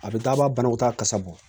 A bɛ taa a b'a banakɔtaa kasa bɔ